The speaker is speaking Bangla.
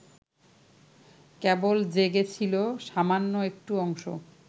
কেবল জেগে ছিল সামান্য একটু অংশ